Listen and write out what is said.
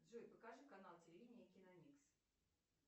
джой покажи канал телевидения киномикс